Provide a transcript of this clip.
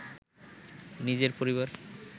নিজের পরিবার